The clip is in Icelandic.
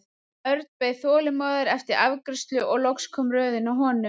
Örn beið þolinmóður eftir afgreiðslu og loks kom röðin að honum.